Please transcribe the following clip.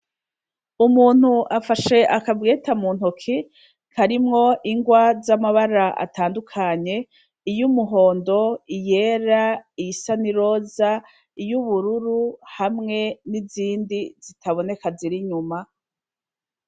Umuntu afashe akabweta mu ntoki karimwo ingwa z'amabara atandukanye iyo umuhondo iyera iy isanai roza iyo ubururu hamwe n'izindi zitaboneka zirinyuma.